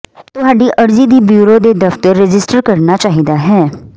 ਤੁਹਾਡੀ ਅਰਜ਼ੀ ਦੀ ਬਿਊਰੋ ਦੇ ਦਫ਼ਤਰ ਰਜਿਸਟਰ ਕਰਨਾ ਚਾਹੀਦਾ ਹੈ